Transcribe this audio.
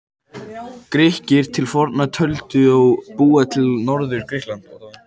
Grikkir til forna töldu þá búa í Norður-Grikklandi.